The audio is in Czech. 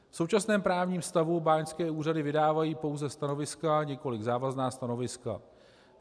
V současném právním stavu báňské úřady vydávají pouze stanoviska, nikoliv závazná stanoviska.